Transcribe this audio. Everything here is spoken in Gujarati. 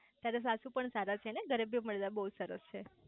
તારા સાસુ પણ સારા છે ને ઘરે બી મતલબ બહુ સરસ છે